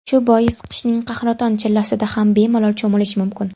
Shu bois qishning qahraton chillasida ham bemalol cho‘milish mumkin.